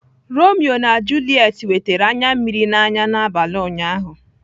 Romeo na Juliet wetara anya mmiri n'anya n'abalị ụnyaahụ.